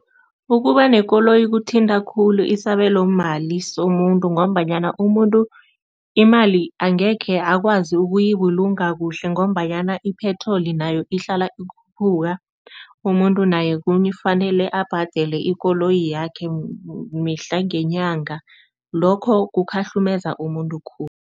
Ukuba nekoloyi kuthinta khulu isabelomali somuntu ngombanyana umuntu imali angekhe akwazi ukuyibulunga kuhle ngombanyana ipetroli nayo ihlala ikhuphuka, umuntu naye kufanele abhadele ikoloyi yakhe mihla ngenyanga. Lokho kukhahlumeza umuntu khulu.